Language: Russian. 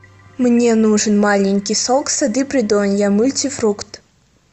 мне нужен маленький сок сады придонья мультифрукт